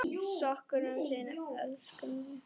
Söknum þín, elsku frænka.